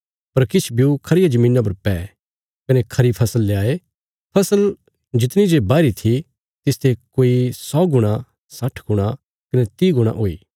पर किछ ब्यू खरिया धरतिया पर पै कने खरी फसल ल्याये फसल जितणी जे बाहीरी थी तिसते कोई सौ गुणा साठ गुणा कने तीह गुणा हुई